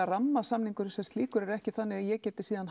rammasamningurinn sem slíkur er ekki þannig að ég geti síðan